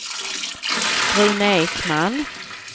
Rune Ekman